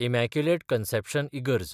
immaculate Conception इगर्ज